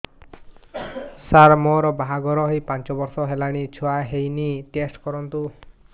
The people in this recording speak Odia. ସାର ମୋର ବାହାଘର ହେଇ ପାଞ୍ଚ ବର୍ଷ ହେଲାନି ଛୁଆ ହେଇନି ଟେଷ୍ଟ କରନ୍ତୁ